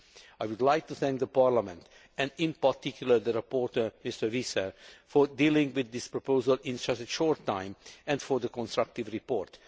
I would like to thank Parliament, and in particular the rapporteur, Mr Visser, for dealing with this proposal in such a short time and for the constructive report.